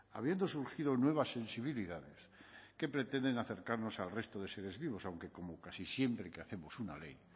habiendo surgido nuevas sensibilidades que pretenden acercarnos al resto de seres vivos aunque como casi siempre que hacemos una ley